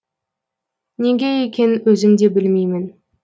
неге екенін өзім де білмеймін